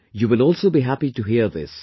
You will also be happy to hear this